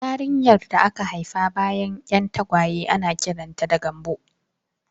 Yarinyar da aka haifa bayan 'yan tagwaye ana kiranta da 'Gambo'